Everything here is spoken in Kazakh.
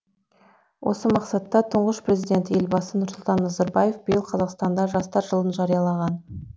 осы мақсатта тұңғыш президент елбасы нұрсұлтан назарбаев биыл қазақстанда жастар жылын жариялаған